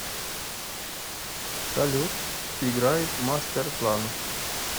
салют играй мастерплан